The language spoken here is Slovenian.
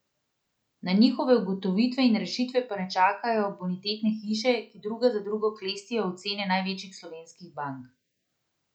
Na njihove ugotovitve in rešitve pa ne čakajo bonitetne hiše, ki druga za drugo klestijo ocene največjih slovenskih bank.